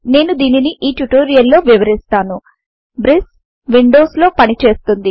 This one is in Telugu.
నేను దీనిని ఈ ట్యుటోరియల్ లో వివరిస్తాను బ్రిస్ విండోస్ లో పనిచేస్తుంది